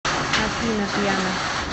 афина пиано